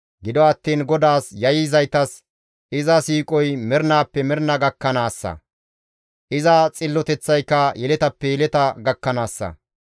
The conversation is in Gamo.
Gido attiin GODAAS yayyizaytas iza siiqoy mernaappe mernaa gakkanaassa; iza xilloteththayka yeletappe yeleta gakkanaassa.